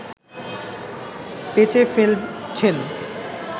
বেচে ফেলছেন